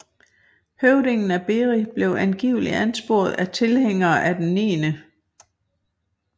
Høvdingen af Beri blev angiveligt ansporet af tilhængere af den 9